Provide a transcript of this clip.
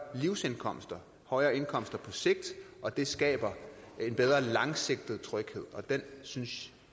livsindkomster og højere indkomster på sigt og det skaber en bedre langsigtet tryghed og den synes